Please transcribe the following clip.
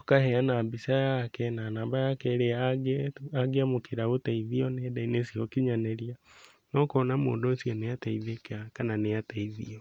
ũkaheana mbica yake na namba yake ĩrĩa angĩamũkĩra ũteithio nenda-inĩ cia ũkinyanĩria na ũkona mũndũ ũcio nĩateithĩka kana nĩateithio.